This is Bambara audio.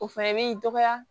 O fɛnɛ b'i dɔgɔya